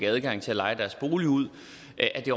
adgang til at leje deres bolig ud